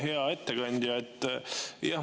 Hea ettekandja!